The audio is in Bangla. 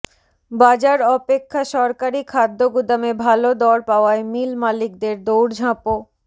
বাজার অপেক্ষা সরকারি খাদ্যগুদামে ভালো দর পাওয়ায় মিল মালিকদের দৌড়ঝাঁপও